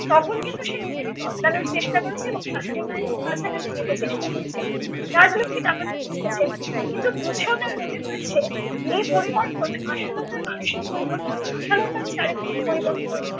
তখন কিন্তু সে নিজেকে বদলানোর চেষ্টা করেছে এবং শাশুড়ি মায়ের খুব কাছাকাছি যেতে চেষ্টা করেছে। রাজলক্ষী ব্যাপারটা বুঝেছেন কিন্তু বুঝেও তার মনে হয়েছে এই পরিবর্তন আশালতার মানসিক পরিবর্তন, আশালতার চারিত্রিক পরিবর্তন